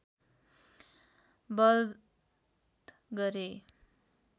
बध गरे